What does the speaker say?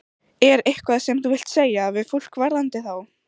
Er eitthvað sem þú vilt segja við fólk varðandi þá?